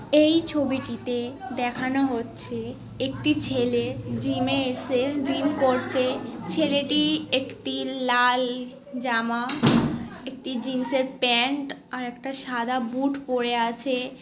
এই ছবিটিতে দেখানো হচ্ছে একটি ছেলে জিম -এ এসে জিম করছে। ছেলেটি একটি লাল জামা একটি জিন্স -এর প্যান্ট আর একটা সাদা বুট পরে আছে-এ।